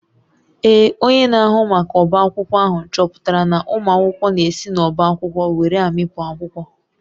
Ee, onye na-ahụ maka ọbá akwụkwọ ahụ chọpụtara na ụmụ akwụkwọ na-esi n’ọ́bá akwụkwọ were amịpụ akwụkwọ